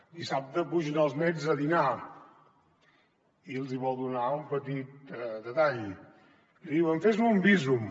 dissabte pugen els nets a dinar i els hi vol donar un petit detall li diuen fes me un bízum